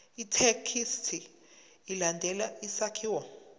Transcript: ithekisthi ilandele isakhiwo